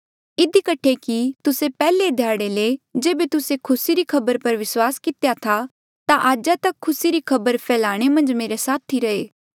इधी कठे कि तुस्से पैहले ध्याड़े ले जेबे तुस्से खुसी री खबर पर विस्वास कितेया था ता आजा तक खुसी री खबर फैलाणे मन्झ मेरे साथी रहे